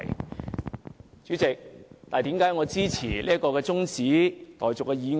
代理主席，為何我支持這項中止待續議案呢？